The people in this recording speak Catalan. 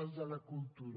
al de la cultura